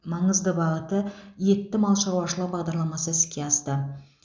маңызды бағыты етті мал шаруашылығы бағдарламасы іске асты